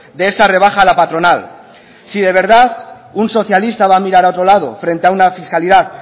de esa rebaja a la patronal si de verdad un socialista va a mirar a otro lado frente a una fiscalidad